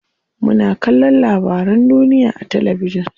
Muna kallon labarun duniya a talabijin.